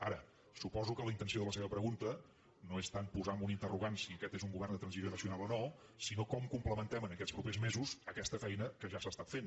ara suposo que la intenció de la seva pregunta no és tant posar amb un interrogant si aquest és un govern de transició nacional o no sinó com complementem en aquests propers mesos aquesta feina que ja s’ha es·tat fent